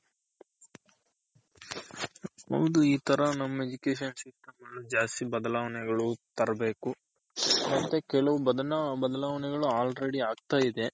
ಹೌದು ಇ ತರ ನಮ್ Education system ಅಲ್ಲೂ ಜಾಸ್ತಿ ಬದಲಾವಣೆ ಗಳು ತರಬೇಕು ಮತ್ತೆ ಕೆಲವ್ ಬದಾಲವಣೆಗಳು already ಆಗ್ತಾ ಇದೆ.